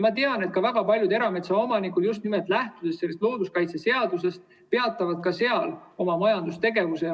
Ma tean, et ka väga paljud erametsaomanikud, just nimelt lähtudes looduskaitseseadusest, peatavad ka majandustegevuse.